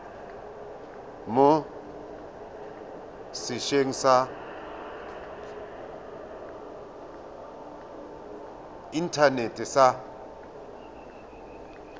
mo setsheng sa inthanete sa